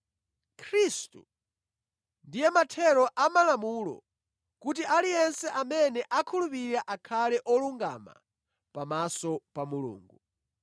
Khristu ndiye mathero amalamulo kuti aliyense amene akhulupirira akhale olungama pamaso pa Mulungu.